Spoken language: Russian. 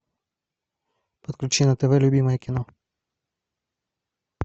подключи на тв любимое кино